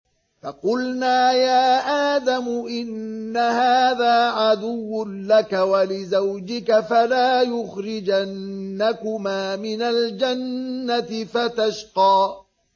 فَقُلْنَا يَا آدَمُ إِنَّ هَٰذَا عَدُوٌّ لَّكَ وَلِزَوْجِكَ فَلَا يُخْرِجَنَّكُمَا مِنَ الْجَنَّةِ فَتَشْقَىٰ